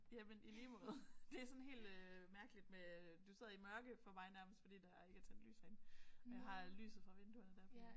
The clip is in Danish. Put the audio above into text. Jamen i lige måde. Det er sådan helt øh mærkeligt med øh du sidder i mørke for mig nærmest fordi der ikke er tændt lys herinde jeg har lyset fra vinduet der